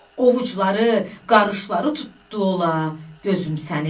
Ovucuları qarışları tutdu ola gözüm səni?